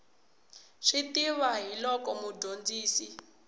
swi tiva hi loko mudyondzi